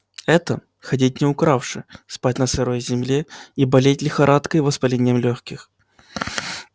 это ходить не укравши спать на сырой земле и болеть лихорадкой и воспалением лёгких